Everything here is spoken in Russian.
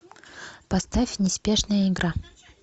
поставь неспешная игра